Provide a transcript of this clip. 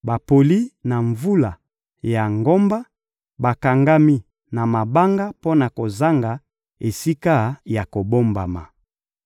bapoli na mvula ya ngomba, bakangami na mabanga mpo na kozanga esika ya kobombama.